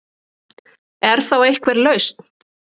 Er þá einhver lausn